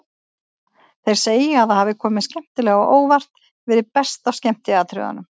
Þeir segja að það hafi komið skemmtilega á óvart, verið best af skemmtiatriðunum.